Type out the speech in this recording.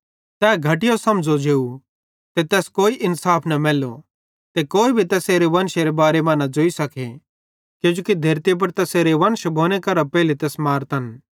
तै घटया समझ़ो जेव ते तैस कोई इन्साफ न मैल्लो ते कोई भी तैसेरे वंशेरे बारे मां न ज़ोई सके किजोकि धेरती पुड़ तैसेरे वंश भोने करां तैस मारतन